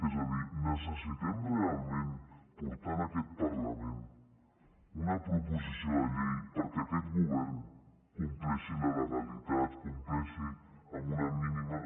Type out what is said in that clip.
és a dir necessitem realment portar en aquest parlament una proposició de llei perquè aquest govern compleixi la legalitat compleixi amb una mínima